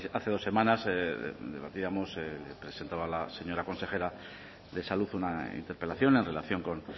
hace dos semanas debatíamos presentaba la señora consejera de salud una interpelación en relación con